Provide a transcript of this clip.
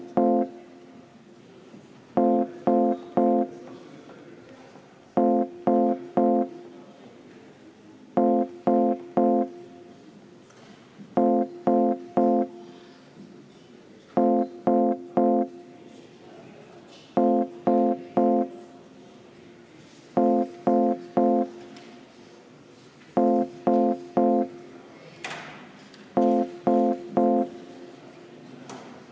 Austatud Riigikogu, panen hääletusele muudatusettepaneku nr 1, mille on esitanud Eesti Konservatiivse Rahvaerakonna fraktsioon ja mille juhtivkomisjon on jätnud arvestamata.